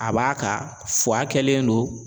A b'a ka kɛlen don.